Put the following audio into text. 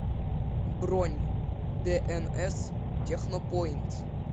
бронь дээнэс технопоинт